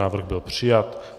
Návrh byl přijat.